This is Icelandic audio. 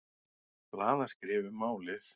Blaðaskrif um málið.